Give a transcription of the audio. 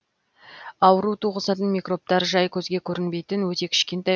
ауру туғызатын микробтар жай көзге көрінбейтін өте кішкентай